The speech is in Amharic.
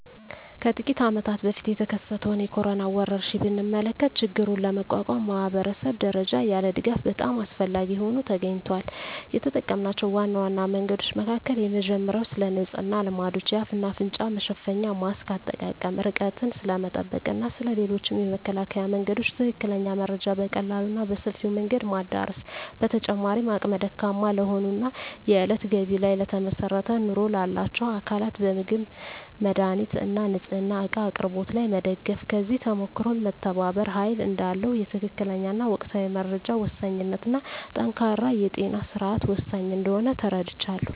ከጥቂት አመታት በፊት የተከሰተውን የኮሮና ወረርሽኝ ብንመለከ ችግሩን ለመቋቋም ማኅበረሰብ ደረጃ ያለ ድጋፍ በጣም አስፈላጊ ሆኖ ተገኝቷል። የተጠምናቸው ዋና ዋና መንገዶች መካከል የመጀመሪያው ስለንጽህና ልማዶች፣ የአፍ እና አፍንጫ መሸፈኛ ማስክ አጠቃቀም፣ ርቀትን ስለመጠበቅ እና ስለ ሌሎችም የመከላከያ መንገዶች ትክክለኛ መረጃ በቀላሉ እና በሰፊው መንገድ ማዳረስ። በተጨማሪም አቅመ ደካማ ለሆኑ እና የእለት ገቢ ላይ ለተመሰረተ ኑሮ ላላቸው አካላት በምግብ፣ መድሃኒት እና ንፅህና እቃ አቅርቦት ላይ መደገፍ። ከዚህ ተሞክሮም መተባበር ኃይል እዳለው፣ የትክክለኛ እና ወቅታዊ መረጃ ወሳኝነት እና ጠንካራ የጤና ስርዓት ወሳኝ እንደሆነ ተረድቻለሁ።